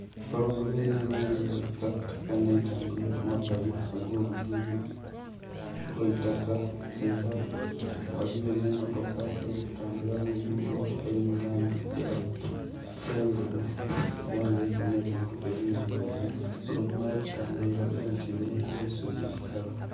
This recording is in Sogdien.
Empologoma eri mu langi eya kitakataka nheri kutambulila kumabali ago lugudho lwaitaka era ghaligho emotoka eri kutambulila mu lugudho eri mu langi endheru era nga eriku nhe bintu ekirugavu. Empologoma eri kutambulila elaga nti irungu kuba eisubi ikalu.